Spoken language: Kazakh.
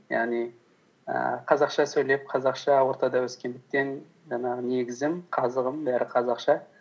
яғни ііі қазақша сөйлеп қазақша ортада өскендіктен жаңағы негізім қазығым бәрі қазақша